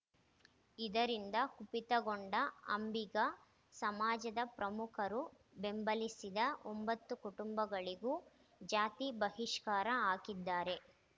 ಇದರಿಂದ ಕುಪಿತಗೊಂಡ ಅಂಬಿಗ ಸಮಾಜದ ಪ್ರಮುಖರು ಬೆಂಬಲಿಸಿದ ಒಂಬತ್ತು ಕುಟುಂಬಗಳಿಗೂ ಜಾತಿ ಬಹಿಷ್ಕಾರ ಹಾಕಿದ್ದಾರೆ